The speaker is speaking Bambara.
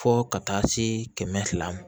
Fo ka taa se kɛmɛ fila ma